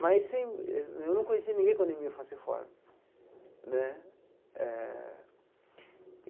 Mas assim eu não conhecia ninguém com anemia falciforme né eh.